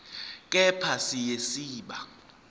kepha siya siba